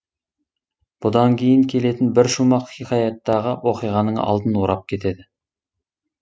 бұдан кейін келетін бір шумақ хикаяттағы оқиғаның алдын орап кетеді